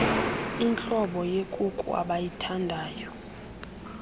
intlobo yekuku abayithandayo